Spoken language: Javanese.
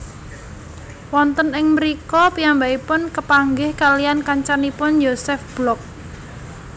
Wonten ing mrika piyambakipun kapanggih kaliyan kancanipun Josef Block